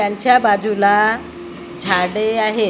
त्यांच्या बाजूला झाडे आहेत.